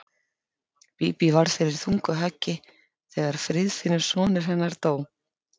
Bíbí varð fyrir þungu höggi þegar Friðfinnur sonur hennar dó.